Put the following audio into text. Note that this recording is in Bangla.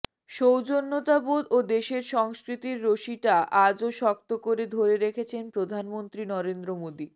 সৌজন্যতাবোধ ও দেশের সংস্কৃতির রশিটা আজও শক্ত করে ধরে রেখেছেন প্রধানমন্ত্রী নরেন্দ্র মোদী